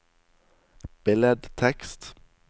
billedtekst